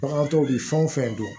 Bagan tɔw bɛ fɛn o fɛn dɔn